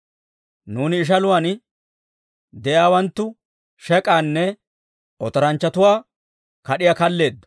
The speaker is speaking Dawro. Nuuni ishaluwaan de'iyaawanttu shek'aanne otoranchchatuwaa kad'iyaa kalleeddo.